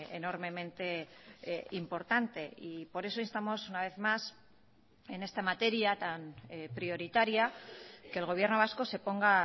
enormemente importante y por eso instamos una vez más en esta materia tan prioritaria que el gobierno vasco se ponga